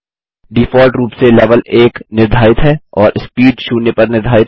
default रूप से level 1 निर्धारित है और स्पीड शून्य पर निर्धारित है